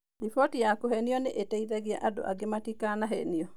Riboti ya kũhenio nĩ ĩteithagia andũ angĩ matikahenio.